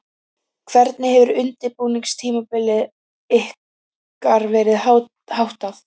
Hvernig hefur undirbúningstímabili ykkar verið háttað?